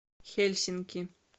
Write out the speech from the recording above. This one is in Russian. хельсинки